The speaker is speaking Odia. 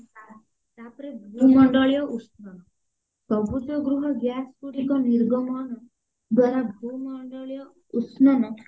ତା ତାପରେ ଭୂମଣ୍ଡଳୀୟ ଉଷ୍ଣ ସବୁଜ ଗୃହ gas ଗୁଡିକ ନିର୍ଗମ ଦ୍ଵାରା ଭୂମଣ୍ଡଳୀୟ ଉଷ୍ଣନ